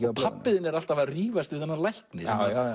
og pabbi þinn er alltaf að rífast við þennan lækni